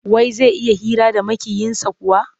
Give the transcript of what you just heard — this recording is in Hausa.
Wai zai iya hira da Maƙiyinsa kuwa?